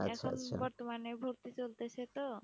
মানে ভর্তি চলতেসে তো।